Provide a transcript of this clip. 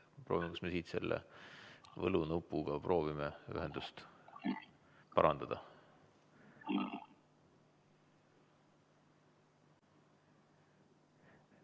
Proovime, kas me siit selle nupuga saame ühendust parandada.